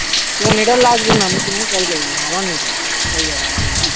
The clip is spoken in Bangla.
তোমার নেট আর লাগবে না আমি তোমাকে call করব আমার নেট লাগবে হয়ে যাবে আমার নেট আছে